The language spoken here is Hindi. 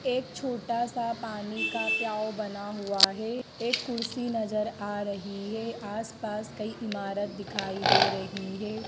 एक छोटा सा पानी का प्याओ बना हुआ है एक कुर्सी नजर आ रही है आसपास कई इमारत दिखाई दे रही है।